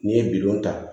N'i ye bidow ta